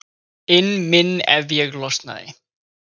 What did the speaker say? inn minn ef ég losnaði.